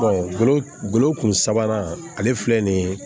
golo golo kun sabanan ale filɛ nin ye